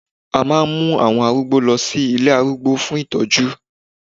a ma n mu àwọn arúgbó lọ sí ilé arúgbó fún itoju